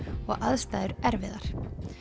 og aðstæður erfiðar